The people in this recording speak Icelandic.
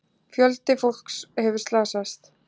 Fjöldi fólks hefur slasast.